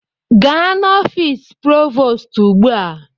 Gaa n'ọfịs Provoostu ugbu a!